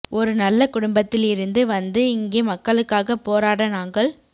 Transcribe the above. ஒரு நல்ல குடும்பத்தில் இருந்து வந்து இங்கே மக்களுக்காகப் போராட நாங்கள்